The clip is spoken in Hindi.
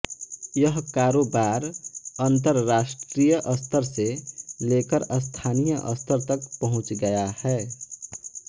यह कारोबार अंतरराष्ट्रीय स्तर से लेकर स्थानीय स्तर तक पहुंच गया है